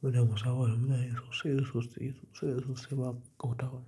Muna musabaha da mutane sosai, sosai, sosai, sosai ba kauƙauta wa.